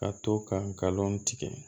Ka to ka galon tigɛ